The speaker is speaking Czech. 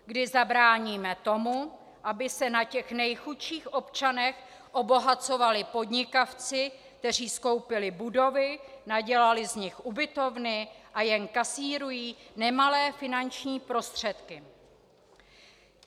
Kdy zabráníme tomu, aby se na těch nejchudších občanech obohacovali podnikavci, kteří skoupili budovy, nadělali z nich ubytovny a jen kasírují nemalé finanční prostředky?